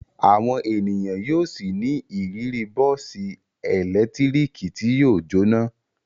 Àwọn ènìyàn yóò ṣì ní ìrírí bọ́ọ́sì ẹ̀lẹ́tíríkì tí yóò jóná.